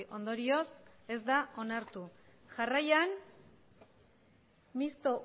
ondorioz ez da onartu jarraian mistoa